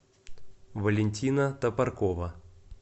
валентина топоркова